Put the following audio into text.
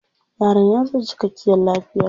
Yaron ya zo da cikkakiyar lafiya.